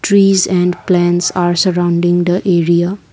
trees and plants are surrounding the area.